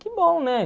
Que bom, né?